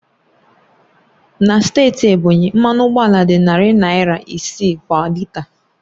Na steeti Ebonyi, mmanụ ụgbọala dị narị naira isii kwa lita